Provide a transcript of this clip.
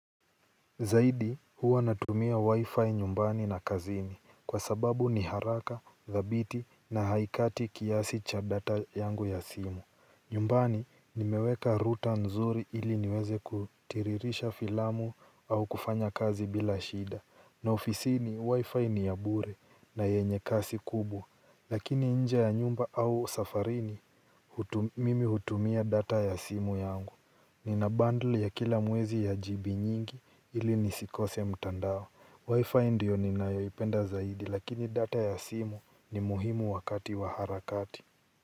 Zaidi huwa natumia wi-fi nyumbani na kazini kwa sababu ni haraka, thabiti na haikati kiasi cha data yangu ya simu. Nyumbani ni meweka router nzuri ili niweze kutiririsha filamu au kufanya kazi bila shida. Na ofisini wi-fi ni ya bure na yenye kasi kubwa. Lakini nje ya nyumba au safarini mimi hutumia data ya simu yangu. Ni na bundle ya kila mwezi ya jibi nyingi ili nisikose mtandao Wi-Fi ndio ni nayoipenda zaidi lakini data ya simu ni muhimu wakati wa harakati.